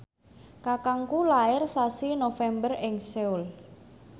kakangku lair sasi November ing Seoul